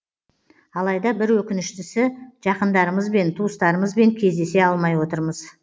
алайда бір өкініштісі жақындарымызбен туыстарымызбен кездесе алмай отырмыз